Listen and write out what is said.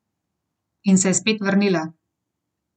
In se je spet vrnila.